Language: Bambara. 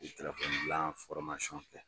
N ye telefɔni dilan fɔrmasiyɔn kɛ.